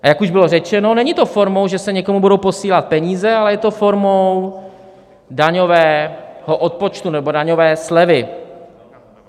A jak už bylo řečeno, není to formou, že se někomu budou posílat peníze, ale je to formou daňového odpočtu nebo daňové slevy.